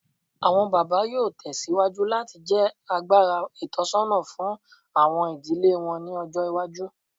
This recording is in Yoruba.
Awọn baba yoo tẹsiwaju lati jẹ agbara itọsọna fun awọn idile wọn ni ọjọ iwaju